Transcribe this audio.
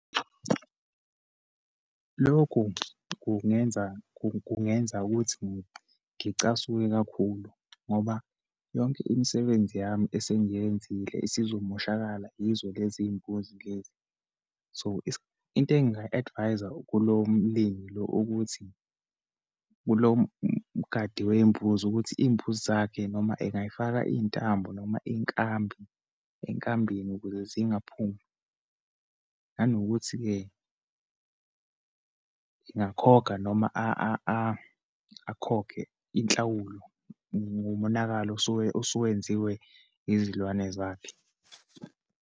Lokhu kungenza, kungenza ukuthi ngicasuke kakhulu ngoba yonke imisebenzi yami esengiyenzile isizomoshakala yizo lezimbuzi lezi. So, into engingayi-adviser kulo mlimi lo, ukuthi kulo mgadi weyimbuzi, ukuthi iyimbuzi zakhe noma engayifaka iyintambo, noma inkambi, enkambini ukuze zingaphumi. Nanokuthi-ke, engakhokha noma akhokhe inhlawulo ngomonakalo osuwenziwe izilwane zakhe.